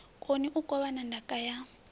koni u kovhana ndaka ya